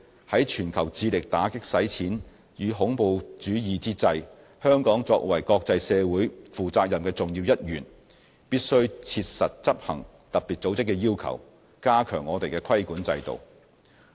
在全球致力打擊洗錢與恐怖主義之際，香港作為國際社會負責任的重要一員，必須切實執行特別組織的要求，加強我們的規管制度。